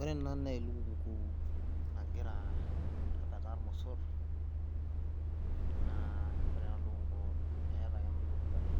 Ore ena naa elukunku nagira apetaa lmosor, naa ore ena lukunku eeta ake ena lukunku are,